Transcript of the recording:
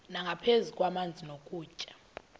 nangaphezu kwamanzi nokutya